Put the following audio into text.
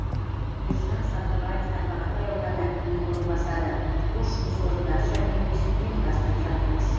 ержан сабырбаев тарбағатай ауданы әкімінің орынбасары бос жұмыс орындары жәрмеңкесін ұйымдастырып жатырмыз